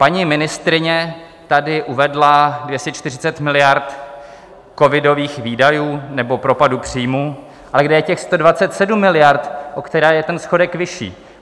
Paní ministryně tady uvedla 240 miliard covidových výdajů nebo propadu příjmů, ale kde je těch 127 miliard, o které je ten schodek vyšší?